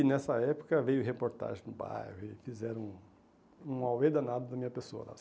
E nessa época veio reportagem no bairro e fizeram um um aoê danado da minha pessoa, sabe?